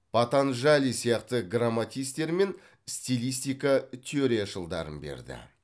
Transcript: патанджали сияқты грамматистер мен стилистика теорияшылдарын берді